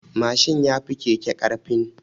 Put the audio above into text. Mashin yafi keke ƙarfin.